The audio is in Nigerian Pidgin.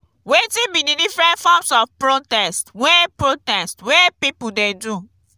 wetin be di different forms of protest way protest way people dey do?